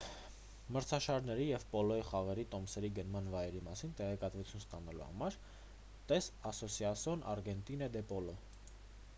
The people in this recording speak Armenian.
մրցաշարերի և պոլոյի խաղերի տոմսերի գնման վայրերի մասին տեղեկատվություն ստանալու համար տես ասոսասիոն արգենտինա դե պոլո